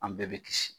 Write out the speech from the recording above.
An bɛɛ bɛ kisi